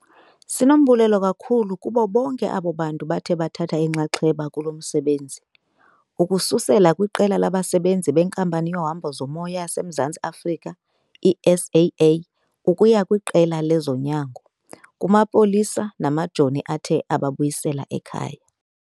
Sinombulelo kakhulu kubo bonke abo bantu bathe bathatha inxaxheba kulo msebenzi, ukususela kwiqela labasebenzi beNkampani yeHambo zoMoya yaseMzantsi Afrika, i-SAA, ukuya kwiqela lezonyango, kumapolisa namajoni athe ababuyisela ekhaya.